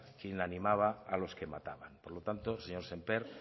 quien animaba a los que mataban por lo tanto señor sémper